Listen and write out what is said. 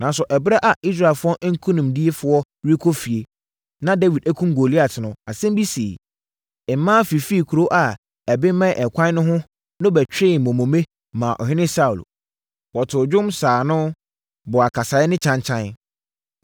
Nanso, ɛberɛ a Israelfoɔ nkonimdifoɔ rekɔ fie, na Dawid akum Goliat no, asɛm bi siiɛ. Mmaa fifiri nkuro a ɛbemmɛn ɛkwan no ho no bɛtwee mmomone maa ɔhene Saulo. Wɔtoo nnwom, saa ano, bɔɔ akasaeɛ ne kyankyan.